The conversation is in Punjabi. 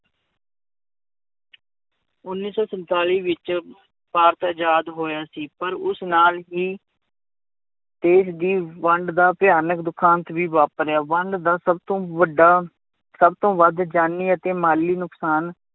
ਉੱਨੀ ਸੌ ਸੰਤਾਲੀ ਵਿੱਚ ਭਾਰਤ ਆਜ਼ਾਦ ਹੋਇਆ ਸੀ ਪਰ ਉਸ ਨਾਲ ਹੀ ਦੇਸ ਦੀ ਵੰਡ ਦਾ ਭਿਆਨਕ ਦੁਖਾਂਤ ਵੀ ਵਾਪਰਿਆ ਵੰਡ ਦਾ ਸਭ ਤੋਂ ਵੱਡਾ, ਸਭ ਤੋਂ ਵੱਧ ਜਾਨੀ ਅਤੇ ਮਾਲੀ ਨੁਕਸਾਨ